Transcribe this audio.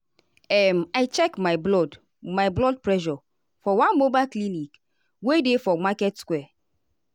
um i check my blood my blood pressure for one mobile clinic wey dey for market square.